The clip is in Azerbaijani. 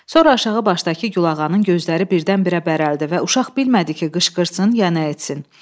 Sonra aşağı başdakı gülağanın gözləri birdən-birə bərəldi və uşaq bilmədi ki, qışqırsın ya nə etsin.